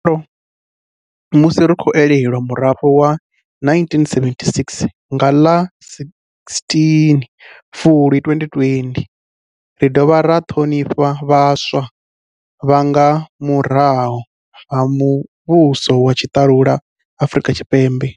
Ngauralo, musi ri khou elelwa murafho wa 1976 nga ḽa 16 Fulwi 2020, ri dovha ra ṱhonifha vha-swa vha nga murahu ha mu-vhuso wa tshiṱalula Afrika Tshi-pembe,